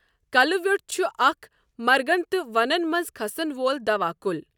کلہٕ ویٛۆٹھ چھُ اَکھ مرگن تہٕ ونَن مَنٛز کھسَن وول دوا کُل.